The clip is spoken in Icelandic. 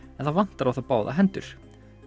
en það vantar á þá báðar hendur